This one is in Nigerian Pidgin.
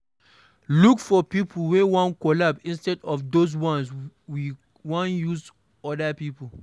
Look for pipo wey wan collabo instead of those ones we wan use oda pipo